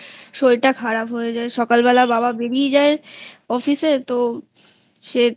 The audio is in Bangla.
শরীরটা খারাপ হয়ে যায় সকাল বেলা বাবা বেড়িয়ে যায় অফিসে তো সে তো